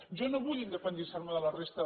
jo no vull independitzar me de la resta